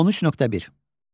13.1.